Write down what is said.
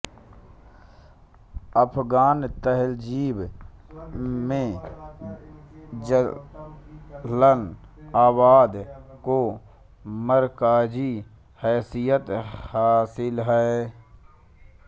अफ़ग़ान तहज़ीब में जलाल आबाद को मरकज़ी हैसीयत हासिल है